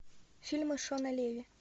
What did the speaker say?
фильмы шона леви